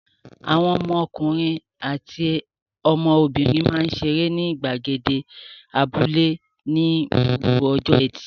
Àwọn ọmọkùnrin àti ọmọbìnrin máa ń ṣe eré ní ìgbàgede abúlé ní gbogbo ọjọ́ ẹtì.